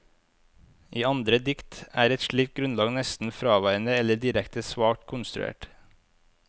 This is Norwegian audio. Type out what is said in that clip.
I andre dikt er et slikt grunnlag nesten fraværende eller direkte svakt konstruert.